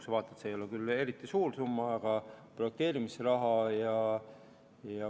See ei ole küll eriti suur summa, aga projekteerimisraha on olemas.